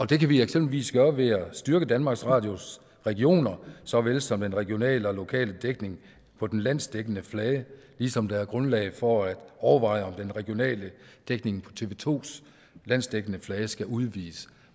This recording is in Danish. det kan vi eksempelvis gøre ved at styrke danmarks radios regioner såvel som den regionale og lokale dækning på den landsdækkende flade ligesom der er grundlag for at overveje om den regionale dækning på tv to landsdækkende flade skal udvides